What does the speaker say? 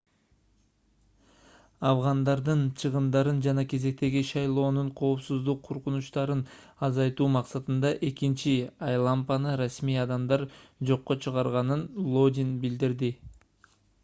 афгандардын чыгымдарын жана кезектеги шайлоонун коопсуздук коркунучтарын азайтуу максатында экинчи айлампаны расмий адамдар жокко чыгарганын лодин билдирди